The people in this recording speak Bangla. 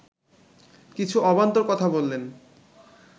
কিছু অবান্তর কথা বললেন